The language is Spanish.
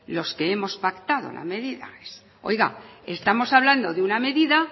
los que hemos pactado las medidas oiga estamos hablando de una medida